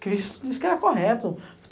Cristo disse que era correto.